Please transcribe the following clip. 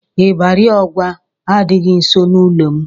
Ịbarị Ọgwa adịghị nso n'ụlọ m.